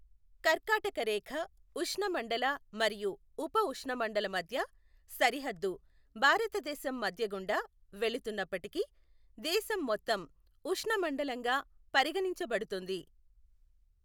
కర్కాటక రేఖ ఉష్ణమండల మరియు ఉపఉష్ణమండల మధ్య సరిహద్దు భారతదేశం మధ్య గుండా వెళుతున్నప్పటికీ, దేశం మొత్తం ఉష్ణమండలంగా పరిగణించబడుతుంది.